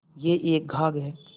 यह एक घाघ हैं